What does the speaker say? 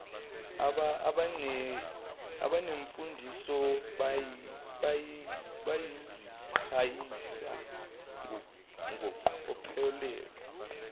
abanemfundiso bayaziqhayisa ngeqophelo